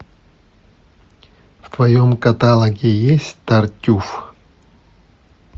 в твоем каталоге есть тартюф